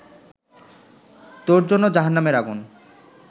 তোর জন্য জাহান্নামের আগুন